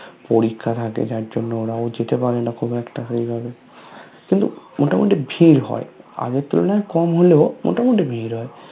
পরীক্ষা থাকে যার জন্য ওরাও যেটা পারেনা খুব একটা সেই ভাবে কিন্তু মোতা মতি ভিড় হয় আগের তুলনায় কম হলেও মোতা মতি ভিড় হয়